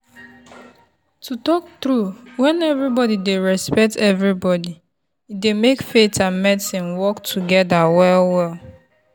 to talk true when everybody dey respect everybody e dey make faith and medicine work together well-well.